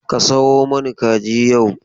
Ka sayo mani kaji yau.